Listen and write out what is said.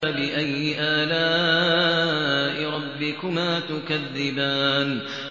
فَبِأَيِّ آلَاءِ رَبِّكُمَا تُكَذِّبَانِ